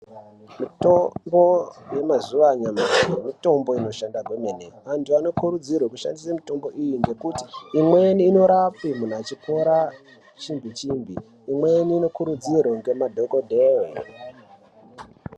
Mutombo yemazuwa anyamashi mitombo inoshanda kwemene antu anokurudzirwe kushandisa mitombo iyi ngekuti imweni inorape muntu achipora chimbi chimbi imweni anokurudzirwe ngemadhokodheye .